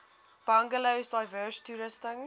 bungalows diverse toerusting